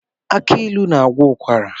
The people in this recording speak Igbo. Agbailu na-agwọ ụkwara.